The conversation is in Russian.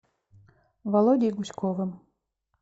володей гуськовым